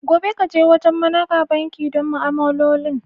Gobe, ka je wajen managa banki don ma'amalolin.